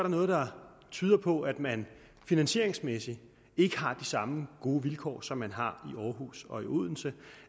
noget der tyder på at man finansieringsmæssigt ikke har de samme gode vilkår som man har i aarhus og i odense